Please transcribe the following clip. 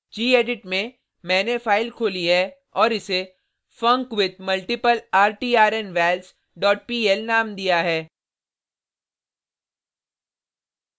gedit में मैंने file खोली है और इसे funcwithmultiplertrnvals dot pl नाम दिया है